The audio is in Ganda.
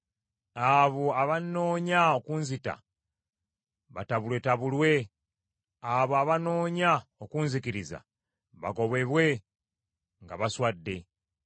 Abo abannoonya okunzita batabulwetabulwe; abo abannoonya okunzikiriza, bagobebwe nga baswadde.